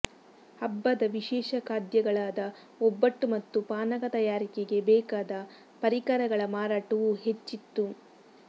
ಹಬ್ಬದ ವಿಶೇಷ ಖಾದ್ಯಗಳಾದ ಒಬ್ಬಟ್ಟು ಮತ್ತು ಪಾನಕ ತಯಾರಿಕೆಗೆ ಬೇಕಾದ ಪರಿಕರಗಳ ಮಾರಾಟವೂ ಹೆಚ್ಚಿತ್ತು